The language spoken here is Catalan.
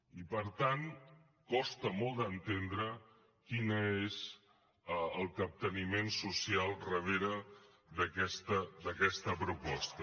i per tant costa molt d’entendre quin és el capteniment social darrere d’aquesta proposta